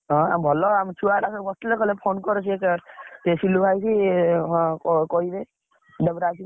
ହଁ ହଁ ଭଲ, ଆମ ଛୁଆଗୁଡା ସବୁ ବସିଥିଲେ କହିଲେ phone କର୍ ସେ ସିଲୁ ଭାଇକି ସେ କହିବେ ।